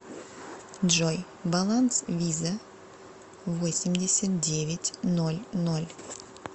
джой баланс виза восемьдесят девять ноль ноль